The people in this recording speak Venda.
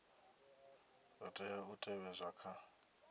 zwa tea u tevhedzwa kha